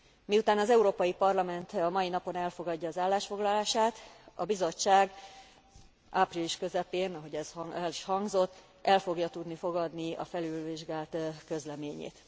Miután az Európai Parlament a mai napon elfogadja az állásfoglalását, a Bizottság április közepén ahogy ez el is hangzott el fogja tudni fogadni a felülvizsgált közleményét.